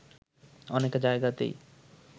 অনেক জায়গাতেই